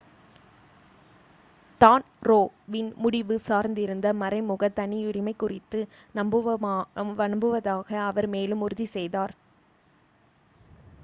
தான் ரோ வின் முடிவு சார்ந்திருந்த மறைமுக தனியுரிமை குறித்து நம்புவதாக அவர் மேலும் உறுதி செய்தார்